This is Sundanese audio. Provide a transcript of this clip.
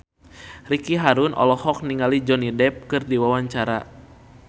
Ricky Harun olohok ningali Johnny Depp keur diwawancara